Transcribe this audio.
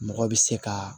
Mɔgɔ bɛ se ka